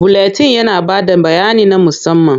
Buletin yana ba da bayani na musamman.